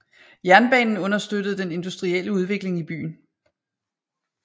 Jernbanen understøttede den industrielle udvikling i byen